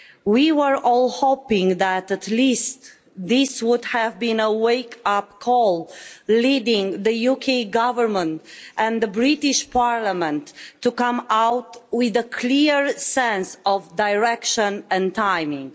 We were all hoping that at least this would have been a wake up call, leading the UK government and the British Parliament to come out with a clear sense of direction and timing.